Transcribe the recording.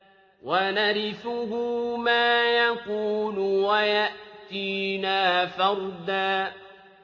وَنَرِثُهُ مَا يَقُولُ وَيَأْتِينَا فَرْدًا